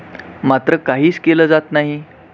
मात्र काहीच केल जात नाही.